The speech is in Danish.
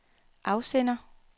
afsender